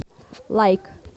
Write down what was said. лайк